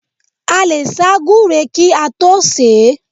A lè sá gúre kí a tó sè é.